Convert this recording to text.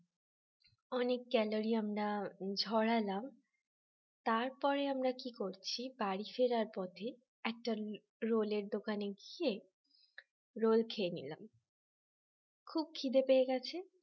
অনেক calorie আমরা ঝরালাম তারপরে আমরা কি করছি বাড়ি ফেরার পথে একটা roll র দোকানে গিয়ে roll খেয়ে নিলাম খুব খিদে পেয়ে গেছে